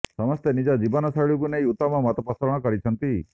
ସମସ୍ତେ ନିଜ ଜୀବନ ଶୈଳୀକୁ ନେଇ ଉତ୍ତମ ମତପୋଷଣ କରିଛନ୍ତି